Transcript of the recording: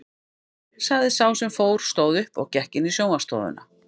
sagði sá sem fór, stóð upp og gekk inn í sjónvarpsstofuna.